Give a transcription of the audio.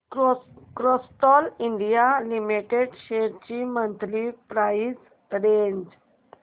Castrol India limited shares ची monthly price range